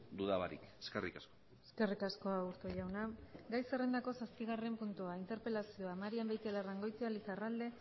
duda barik eskerrik asko eskerrik asko aburto jauna gai zerrendako zazpigarren puntua interpelazioa marian beitialarrangoitia lizarralde